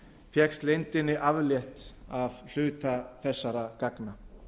fékkst leyndinni aflétt af hluta þessara gagna